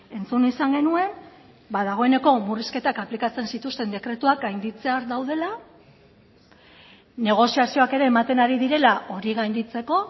entzun izan genuen ba dagoeneko murrizketak aplikatzen zituzten dekretuak gainditzear daudela negoziazioak ere ematen ari direla hori gainditzeko